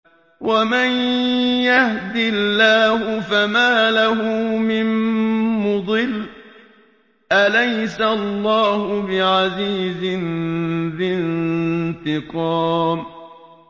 وَمَن يَهْدِ اللَّهُ فَمَا لَهُ مِن مُّضِلٍّ ۗ أَلَيْسَ اللَّهُ بِعَزِيزٍ ذِي انتِقَامٍ